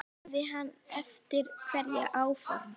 Hefði hann haft einhver áform.